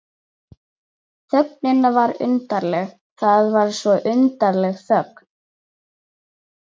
Þögnin var undarleg, það var svo undarleg þögn.